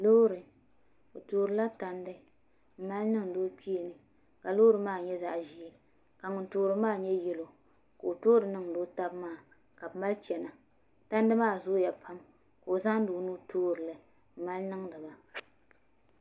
Loori o toorila tandi mali niŋdi o kpeeni ka loori maa nyɛ zaɣ ʒiɛ ka ŋun toori maa nyɛ yɛlo ka o toori niŋdi o tabi maa ka bi mali chɛna tandi maa zooya pam ka o zaŋdi o nuu toorili n mali niŋdi ba